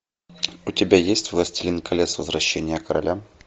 у тебя есть властелин колец возвращение короля